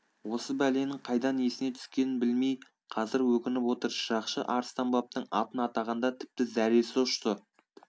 осы бәленің қайдан есіне түскенін білмей қазір өкініп отыр шырақшы арыстанбаптың атын атағанда тіпті зәресі ұшты